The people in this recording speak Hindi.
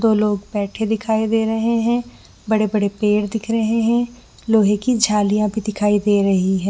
दो लोग बैठे दिखाई दे रहे है बड़े-बड़े पेड़ दिख रहे है लोहे की झालिया भी दिखाई दे रही है।